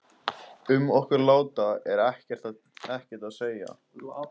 Um okkur lata er ekkert að segja.